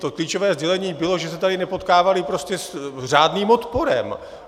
To klíčové sdělení bylo, že se tady nepotkávali prostě s řádným odporem.